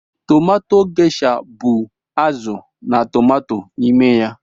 Tomato Gesha bu azụ na tomato n'ime ya.